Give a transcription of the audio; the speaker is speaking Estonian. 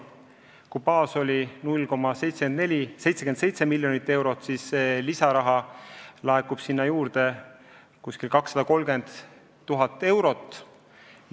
Kui baastase oli 0,77 miljonit eurot, siis sinna laekub lisaraha umbes 230 000 eurot.